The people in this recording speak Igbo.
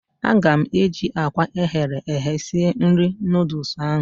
A ga m eji akwa eghere eghe sie nri noodles ahụ